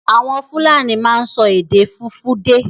Àwọn Fúlàní máa ń sọ èdè Fùfúdè.